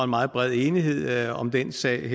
meget bred enighed om den sag